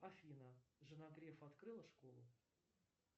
афина жена грефа открыла школу